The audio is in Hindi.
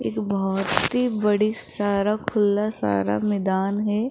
एक बहुत ही बड़ी सारा खुला सारा मैदान है।